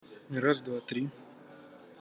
раз два три